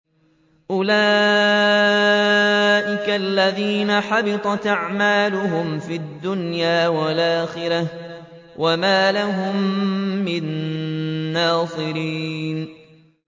أُولَٰئِكَ الَّذِينَ حَبِطَتْ أَعْمَالُهُمْ فِي الدُّنْيَا وَالْآخِرَةِ وَمَا لَهُم مِّن نَّاصِرِينَ